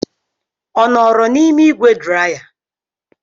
Ọ nọọrọ n'ime ígwè draya?